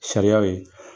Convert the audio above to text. Sariyaw ye